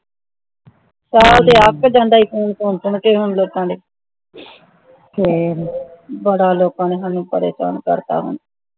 ਸਾਰਾ ਦਿਨ ਅੱਕ ਜਾਂਦਾ ਸੀ phone ਸੁਨ ਸੁਨ ਕੇ ਫੇਰ ਬੜਾ ਲੋਕਾਂ ਨੇ ਸਾਨੂੰ ਪਰੇਸ਼ਾਨ ਕਰਤਾ